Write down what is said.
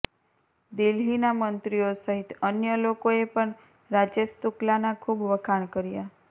દિલ્હીના મંત્રીઓ સહિત અન્ય લોકોએ પણ રાજેશ શુક્લાના ખૂબ વખાણ કર્યા